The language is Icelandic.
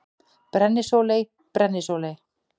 Brennisóley: Brennisóley.